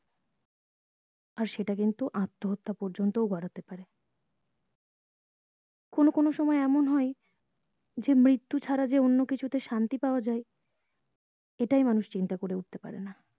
আর সেটা কিন্তু আত্ম হত্যা পর্যন্ত ও গড়াতে পারে কোনো কোনো সময় এমন হয় যে মৃত্যু ছাড়া যে অন্য কিছুতে শান্তি পাওয়া যাই এটাই মানুষ চিন্তা করে উঠতে পারেনা